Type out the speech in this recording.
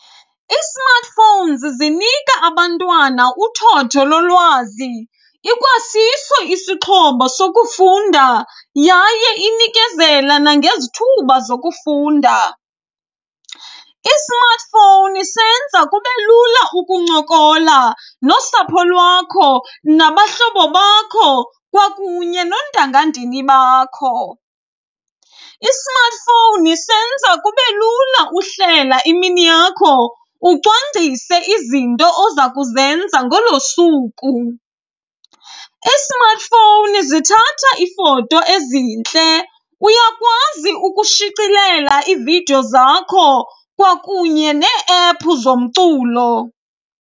I-smartphones zinika abantwana uthotho lolwazi, ikwasiso isixhobo sokufunda yaye inikezela nangezithuba zokufunda. I-smartphone senza kube lula ukuncokola nosapho lwakho, nabahlobo bakho kwakunye noontangandini bakho. I-smartphone senza kube lula uhlela imini yakho ucwangcise izinto oza kuzenza ngolo suku. Ii-smartphone zithatha iifoto ezintle, uyakwazi ukushicilela ividiyo zakho kwakunye nee-ephu zomculo.